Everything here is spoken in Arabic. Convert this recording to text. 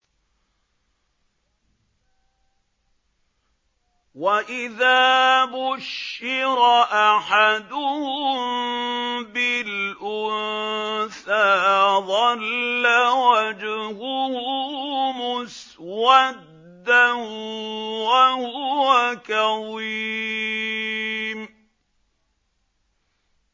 وَإِذَا بُشِّرَ أَحَدُهُم بِالْأُنثَىٰ ظَلَّ وَجْهُهُ مُسْوَدًّا وَهُوَ كَظِيمٌ